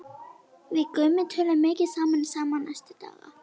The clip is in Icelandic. Við Gummi töluðum mikið saman í síma næstu daga.